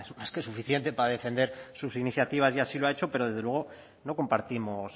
es más que suficiente para defender sus iniciativas y así lo ha hecho pero desde luego no compartimos